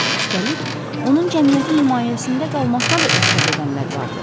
Üstəlik, onun cəmiyyətin himayəsində qalmasına da etiraz edənlər vardı.